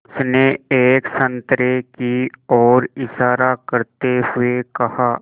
उसने एक संतरे की ओर इशारा करते हुए कहा